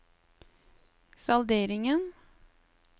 salderingen